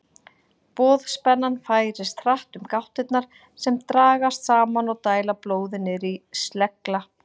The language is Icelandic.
Boðspennan færist hratt um gáttirnar sem dragast saman og dæla blóði niður í slegla.